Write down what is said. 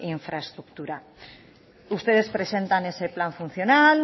infraestructura ustedes presentan ese plan funcional